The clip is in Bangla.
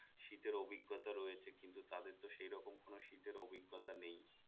শীতের অভিজ্ঞতা রয়েছে কিন্তু তাদের তো সেই রকম কোন শীতের অভিজ্ঞতা নেই